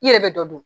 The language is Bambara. I yɛrɛ bɛ dɔ dun